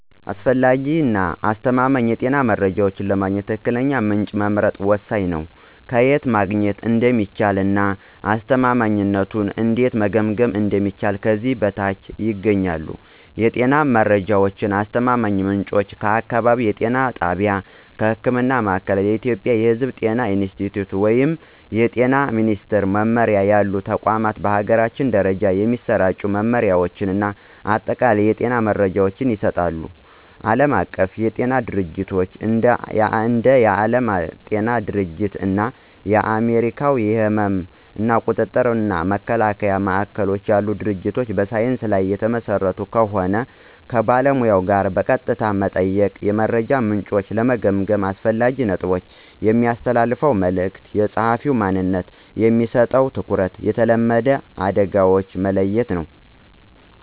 አስፈላጊ እና አስተማማኝ የጤና መረጃ ለማግኘት ትክክለኛውን ምንጭ መምረጥ ወሳኝ ነው። ከየት ማግኘት እንደሚቻል እና አስተማማኝነቱን እንዴት መገምገም እንደሚችሉ ከዚህ በታች ያገኛሉ። የጤና መረጃ አስተማማኝ ምንጮች · አካባቢያዊ የጤና ጣቢያ (ህክምና ማእከል። ኢትዮጵያ የሕዝብ ጤና ኢንስቲትዩት ወይም የጤና ሚኒስትር መምሪያ ያሉ ተቋማት በአገር ደረጃ የሚሰራጩ መመሪያዎችን እና አጠቃላይ የጤና መረጃዎችን ይሰጣሉ። ዓለም አቀፍ ድርጅቶች እንደ የዓለም ጤና ድርጅት እና የአሜሪካ የሕመም ቁጥጥር እና መከላከያ ማዕከሎች ያሉ ድርጅቶች በሳይንስ ላይ የተመሰረተ ከሆን። ከባለሙያ ጋር በቀጥታ መጠየቅ። የመረጃ ምንጮችን ለመገምገም አስፈላጊ ነጥቦች። የሚያስተላልፈው መልዕክት፣ የጸሐፊው ማንነት፣ በሚሰጠው ትኩረት፣ የተለመዱ አደጋዎችን መለየት ነው።